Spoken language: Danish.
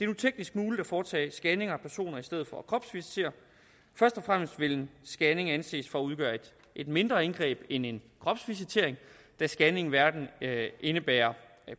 nu teknisk muligt at foretage scanninger af personer i stedet for at kropsvisitere først og fremmest vil en scanning anses for at udgøre et mindre indgreb end en kropsvisitering da scanning hverken indebærer